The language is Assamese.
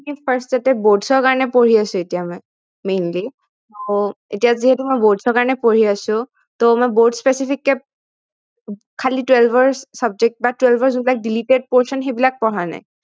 কি first তে boards ৰ কাৰনে পঢ়ি আছো এতিয়া মই mainly এতিয়া যিহেতু মই boards ৰ কাৰনে পঢ়ি আছো মই boards specific কে খালি twelve ৰ subject বা twelve ৰ যি deleted portion সেইবিলাক পঢ়া নাই